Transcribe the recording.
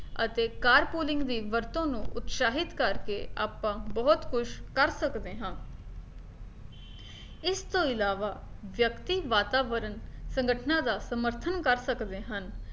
ਅਤੇ car pooling ਦੀ ਵਰਤੋਂ ਨੂੰ ਉਤਸ਼ਾਹਿਤ ਕਰਕੇ ਆਪਾਂ ਬਹੁਤ ਕੁਛ ਕਰ ਸਕਦੇ ਹਾਂ ਇਸਤੋਂ ਇਲਾਵਾ ਵਿਅਕਤੀ ਵਾਤਾਵਰਨ ਸੰਗਠਨਾਂ ਦਾ ਸਮਰਥਨ ਕਰ ਸਕਦੇ ਹਨ